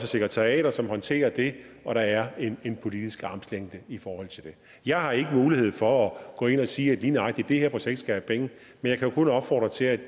sekretariater som håndterer det og der er en politisk armslængde i forhold til det jeg har ikke mulighed for at gå ind og sige at lige nøjagtig det her projekt skal have penge jeg kan kun opfordre til at